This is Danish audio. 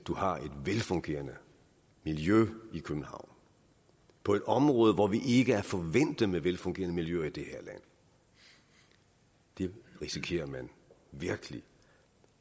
har et velfungerende miljø i københavn på et område hvor vi ikke er forvænte med velfungerende miljøer i det her land det risikerer man virkelig